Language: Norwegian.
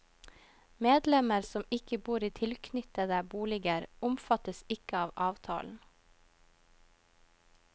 Medlemmer som ikke bor i tilknyttede boliger, omfattes ikke av avtalen.